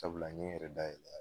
Sabula n ye n yɛrɛ dayɛlɛ a ye